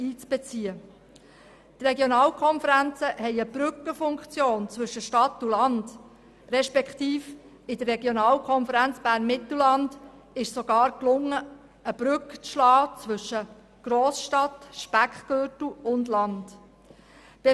Die Regionalkonferenzen haben eine Brückenfunktion zwischen Stadt und Land, und in der Regionalkonferenz Bern-Mittelland konnte sogar eine Brücke zwischen Grossstadt, Speckgürtel und Land geschlagen werden.